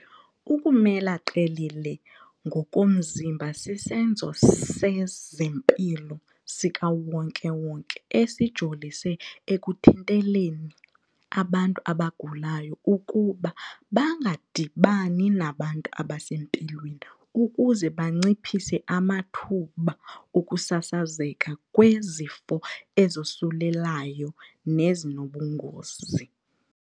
Ukumela qelele ngokomzimba sisenzo sezempilo sikawonke-wonke esijolise ekuthinteleni abantu abagulayo ukuba bangadibani nabantu abasempilweni ukuze banciphise amathuba okusasazeka kwezifo ezosulelayo nezinobungozi.